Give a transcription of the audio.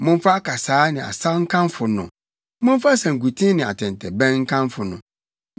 momfa akasaa ne asaw nkamfo no, momfa sankuten ne atɛntɛbɛn nkamfo no,